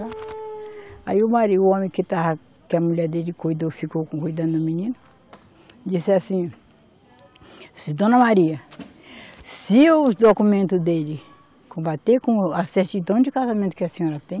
Aí o marido, o homem que estava, que a mulher dele cuidou, ficou cuidando do menino, disse assim, Dona Maria, se os documento dele combater com a certidão de casamento que a senhora tem,